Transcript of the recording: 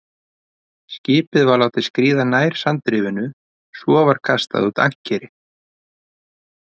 Skipið var látið skríða nær sandrifinu, svo var kastað út ankeri.